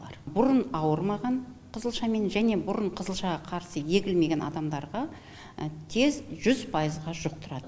бұрын ауырмаған қызылшамен және бұрын қызылшаға қарсы егілмеген адамдарға тез жүз пайызға жұқтырады